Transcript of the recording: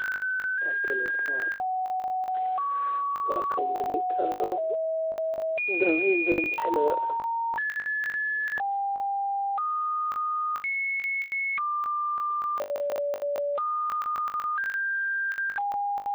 SACCO-yadu waa ururo dhaqaale oo wadaag ah oo ay dadku iska kaashadaan si ay u horumariyaan noloshooda dhaqaale, iyagoo wada jir ah u kaydsada lacagaha una siiya xubin kasta amaah ku saleysan kalsoonida iyo danta guud, taasoo ka duwan nidaamyada bangiyada caadiga ah.